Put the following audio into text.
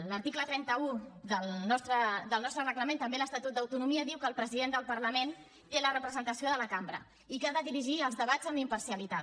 l’article trenta un del nostre reglament també l’estatut d’autonomia diu que el president del parlament té la representació de la cambra i que ha de dirigir els debats amb imparcialitat